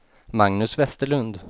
Magnus Westerlund